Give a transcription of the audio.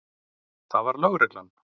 Það var lögreglan.